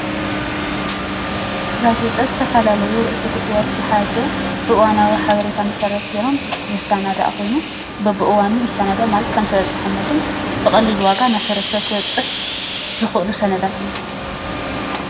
ጋዜጣ ዝተፈላለዩ ርእሰ ጉዳያት ዝሓዘ እዋናዊ ሓበሬታት መሰረት ገይሮም ዝሰናዳእ ኮይኑ በቢእዋኑ ይሰናዳእ ማለት ከምተበፃሕነቱ ብቐሊል ዋጋ ናብ ሕ/ሰብ ክበፅሕ ዝኽእሉ ሰነዳት እዮም፡፡